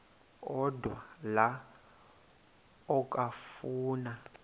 odwa la okafuna